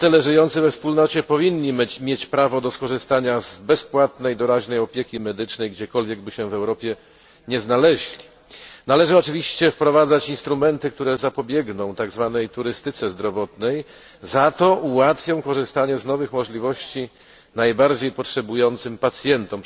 Obywatele żyjący we Wspólnocie powinni mieć prawo do skorzystania z bezpłatnej doraźnej opieki medycznej, gdziekolwiek by się w Europie nie znaleźli. Należy oczywiście wprowadzić instrumenty, które zapobiegną tzw. turystyce zdrowotnej, ułatwiając korzystanie z nowych możliwości najbardziej potrzebującym pacjentom.